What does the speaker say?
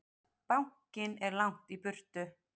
Bankinn er langt í burtu.